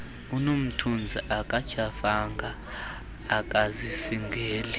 unomthunzi akatyhafanga akazisingeli